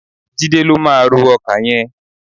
Jídé ló máa ró ọkà yẹn.